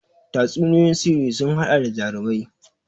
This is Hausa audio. Tatsuniyoyin sihiri sun haɗa da jarumai